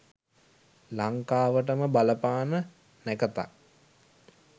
ලංකාවටම බලපාන නැකතක්